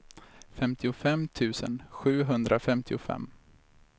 femtiofem tusen sjuhundrafemtiofem